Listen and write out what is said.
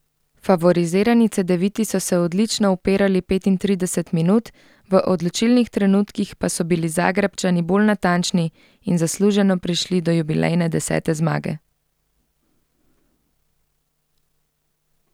Favorizirani Cedeviti so se odlično upirali petintrideset minut, v odločilnih trenutkih pa so bili Zagrebčani bolj natančni in zasluženo prišli do jubilejne desete zmage.